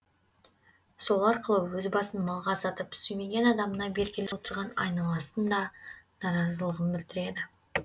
сол арқылы өз басын малға сатып сүймеген адамына бергелі отырған айналасын да наразылығын білдіреді